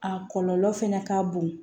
A kɔlɔlɔ fɛnɛ ka bon